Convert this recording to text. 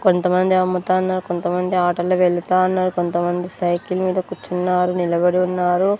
కొంతమంది అమ్ముతాన్నారు కొంతమంది ఆటోలో వెళ్తా ఉన్నారు కొంతమంది సైకిల్ మీద కూర్చున్నారు నిలబడి ఉన్నారు.